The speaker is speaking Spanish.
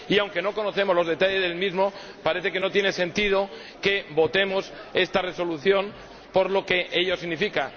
Aunque no conocemos los detalles del mismo, parece que no tiene sentido que votemos esta Resolución por lo que ello significa.